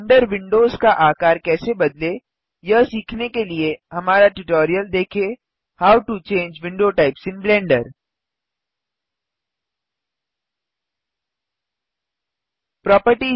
blender windows का आकार कैसे बदलें यह सीखने के लिए हमारा ट्यूटोरियल देखें how to change window types in Blender Blender में विंडो टाइप्स कैसे बदलें